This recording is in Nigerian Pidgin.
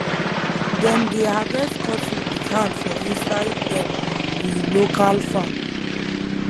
dem dey harvest cotton with hand for inside dem we local farm